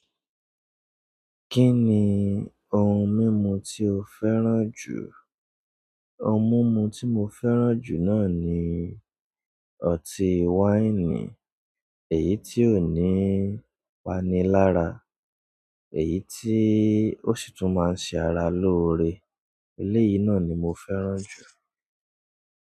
Kí ni ohun mímu tí o fẹ́ràn jù? Ohun mọ́mọ́ tí mo fẹ́ràn jù náà ni ọti-waini, èyí tí ó ní pani lára, èyí tí o sì túmọ̀ ṣara lóore. Eléyìí náà ni mo fẹ́ràn jù.